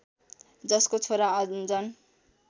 जसको छोरा अन्जन